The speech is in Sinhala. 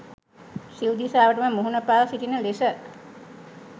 සිව් දිසාවටම මුහුණ පා සිටින ලෙස